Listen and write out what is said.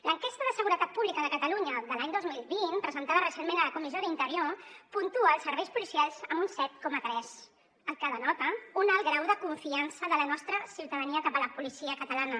l’enquesta de seguretat pública de catalunya de l’any dos mil vint presentada recentment a la comissió d’interior puntua els serveis policials amb un set coma tres cosa que denota un alt grau de confiança de la nostra ciutadania cap a la policia catalana